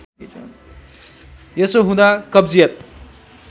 यसो हुँदा कब्जियत